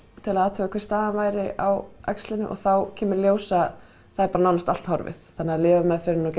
til að athuga hver staðan væri á æxlinu og þá kemur í ljós að það er bara nánast allt horfið þannig að lyfjameðferðin og